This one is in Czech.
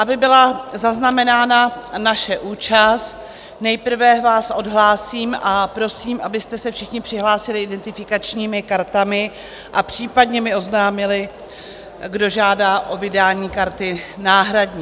Aby byla zaznamenána naše účast, nejprve vás odhlásím a prosím, abyste se všichni přihlásili identifikačními kartami a případně mi oznámili, kdo žádá o vydání karty náhradní.